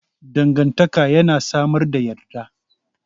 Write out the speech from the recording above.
Dangantaka yana samar da yadda.